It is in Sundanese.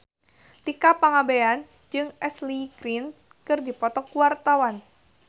Tika Pangabean jeung Ashley Greene keur dipoto ku wartawan